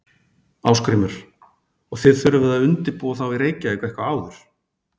Ásgrímur: Og þið þurfið að undirbúa þá í Reykjavík eitthvað áður?